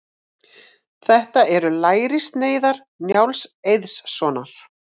Þetta eru lærissneiðar Njáls Eiðssonar.